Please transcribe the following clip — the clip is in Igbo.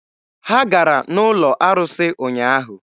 Ha gara n'ụlọ arụsị ụnyaahụ.